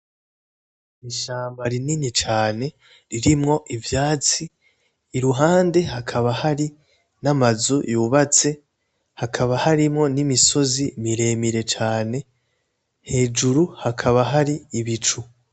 Ishamba rinini cane ririmwo ivyatsi iruhande hakaba hari n'amazu yubatse, hakaba harimwo n'imisozi miremire cane, hejuru hakaba hari ibicu.